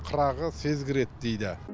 қырағы сезгір еді дейді